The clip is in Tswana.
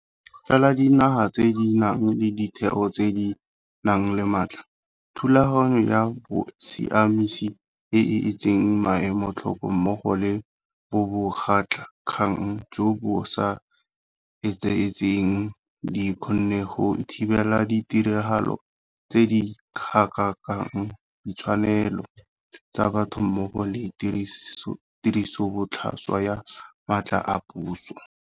Fela dinaga tse di nang le ditheo tse di nang le matla, thulaganyo ya bosiamisi e e etseng maemo tlhoko mmogo le bobegakgang jo bo sa etsaetsegeng di kgonne go thibela ditiragalo tse di gatakakang ditshwanelo tsa batho mmogo le tirisobotlhaswa ya matla a puso.